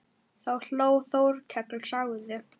Þá hló Þórkell og sagði